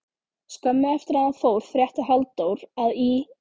Skömmu eftir að hann fór frétti Halldór að í